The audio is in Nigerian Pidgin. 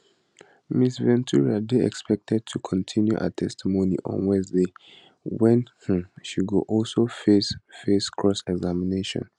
ms ventura dey expected to continue her testimony on wednesday wen um she go also face face crossexamination